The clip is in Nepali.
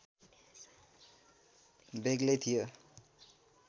बेग्लै थियो